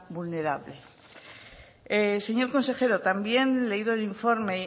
vulnerable señor consejero también leído el informe